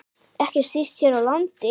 Ekki síst hér á landi.